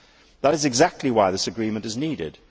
That is exactly why this agreement is needed.